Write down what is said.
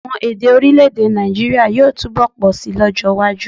Àwon èdè orílẹ̀-èdè Nàìjíírià yóò túbọ̀ pọ̀ síi lọ́jọ́ iwájú